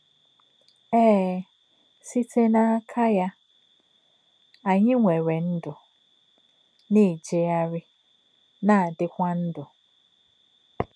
Éē, “sì̄té̄ n’ákà̄ yá̄ kā̄ ànyí̄ nwèrè̄ ndú̄, nā̄-èjé̄gàrí̄, nā̄-àdì̄kwà̄ ndú̄.”